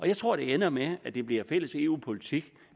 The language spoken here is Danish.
jeg tror at det ender med at det bliver fælles eu politik